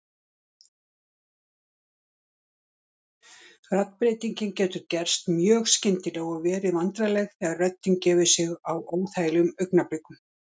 Raddbreytingin getur gerst mjög skyndilega og verið vandræðaleg þegar röddin gefur sig á óþægilegum augnablikum.